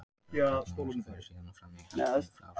Öll gagnavinnsla fer síðan fram í hefðbundnum rafrásum.